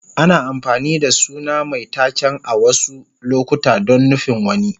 Ana amfani da suna mai taken a wasu lokuta don nufin wani.